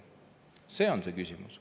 See on see küsimus.